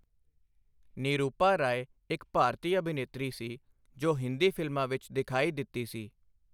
ਨਿਰੂਪਾ ਰਾਏ ਇੱਕ ਭਾਰਤੀ ਅਭਿਨੇਤਰੀ ਸੀ ਜੋ ਹਿੰਦੀ ਫਿਲਮਾਂ ਵਿੱਚ ਦਿਖਾਈ ਦਿੱਤੀ ਸੀ।